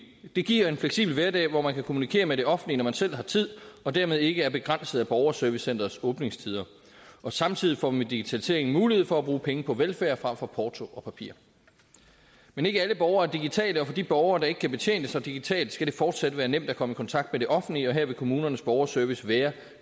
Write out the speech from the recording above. det giver en fleksibel hverdag hvor man kan kommunikere med det offentlige når man selv har tid og dermed ikke er begrænset af borgerservicecenterets åbningstider samtidig får man ved digitaliseringen mulighed for at bruge penge på velfærd frem for porto og papir men ikke alle borgere er digitale og for de borgere der ikke kan betjene sig digitalt skal det fortsat være nemt at komme i kontakt med det offentlige her vil kommunernes borgerservice være